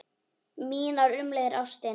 Mínar umliðnu ástir